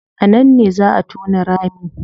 A nan ne zaa a tona rami